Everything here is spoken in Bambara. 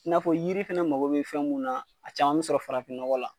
I n'a fɔ yiri fɛnɛ mago be fɛn mun na a caman be sɔrɔ farafin nɔgɔ la.